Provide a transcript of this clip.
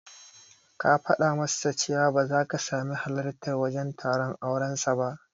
Ka fada masa cewa ba zaka sami halartar wajen taron auren sa ba